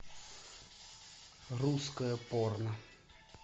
русское порно